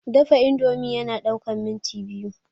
Dafa indomie na ɗaukan minti biyu